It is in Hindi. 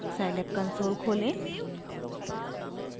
scilab कंसोल खोलें